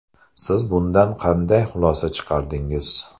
Siz bundan qanday xulosa chiqardingiz?